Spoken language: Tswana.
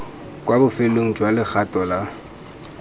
kwa bofelong jwa logato lwa